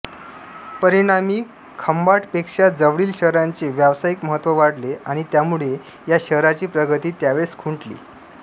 परिणामी खंभाटपेक्षा जवळील शहरांचे व्यावसायिक महत्त्व वाढले आणि त्यामुळे या शहराची प्रगती त्यावेळेस खुंटली